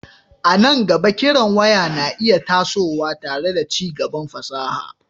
A nan gaba, kiran waya na iya tasowa tare da ci gaban fasaha,